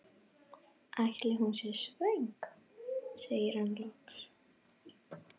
Ætli hún sé svöng? segir hann loks.